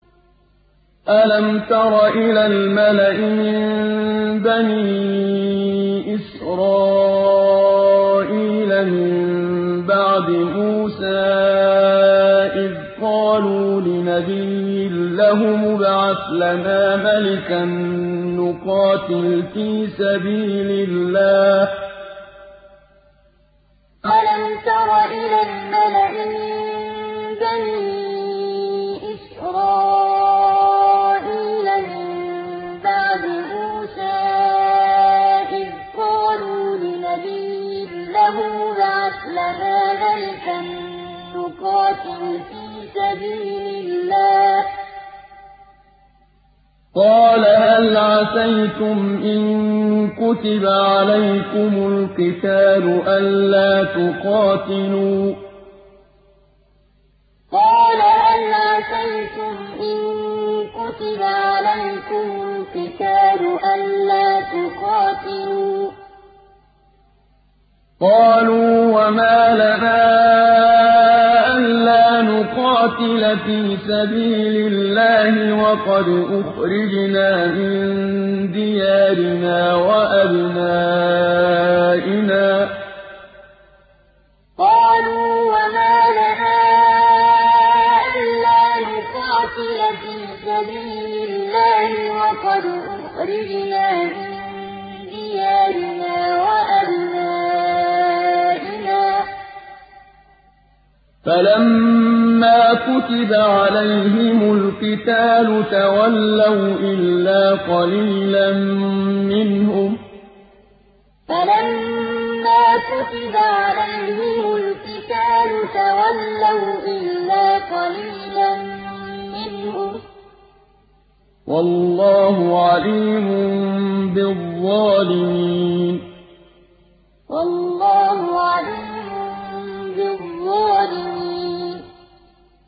أَلَمْ تَرَ إِلَى الْمَلَإِ مِن بَنِي إِسْرَائِيلَ مِن بَعْدِ مُوسَىٰ إِذْ قَالُوا لِنَبِيٍّ لَّهُمُ ابْعَثْ لَنَا مَلِكًا نُّقَاتِلْ فِي سَبِيلِ اللَّهِ ۖ قَالَ هَلْ عَسَيْتُمْ إِن كُتِبَ عَلَيْكُمُ الْقِتَالُ أَلَّا تُقَاتِلُوا ۖ قَالُوا وَمَا لَنَا أَلَّا نُقَاتِلَ فِي سَبِيلِ اللَّهِ وَقَدْ أُخْرِجْنَا مِن دِيَارِنَا وَأَبْنَائِنَا ۖ فَلَمَّا كُتِبَ عَلَيْهِمُ الْقِتَالُ تَوَلَّوْا إِلَّا قَلِيلًا مِّنْهُمْ ۗ وَاللَّهُ عَلِيمٌ بِالظَّالِمِينَ أَلَمْ تَرَ إِلَى الْمَلَإِ مِن بَنِي إِسْرَائِيلَ مِن بَعْدِ مُوسَىٰ إِذْ قَالُوا لِنَبِيٍّ لَّهُمُ ابْعَثْ لَنَا مَلِكًا نُّقَاتِلْ فِي سَبِيلِ اللَّهِ ۖ قَالَ هَلْ عَسَيْتُمْ إِن كُتِبَ عَلَيْكُمُ الْقِتَالُ أَلَّا تُقَاتِلُوا ۖ قَالُوا وَمَا لَنَا أَلَّا نُقَاتِلَ فِي سَبِيلِ اللَّهِ وَقَدْ أُخْرِجْنَا مِن دِيَارِنَا وَأَبْنَائِنَا ۖ فَلَمَّا كُتِبَ عَلَيْهِمُ الْقِتَالُ تَوَلَّوْا إِلَّا قَلِيلًا مِّنْهُمْ ۗ وَاللَّهُ عَلِيمٌ بِالظَّالِمِينَ